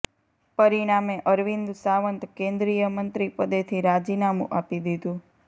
પરિણામે અરવિંદ સાવંત કેન્દ્રીય મંત્રી પદેથી રાજીનામું આપી દીધું